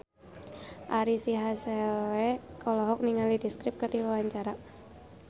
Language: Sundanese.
Ari Sihasale olohok ningali The Script keur diwawancara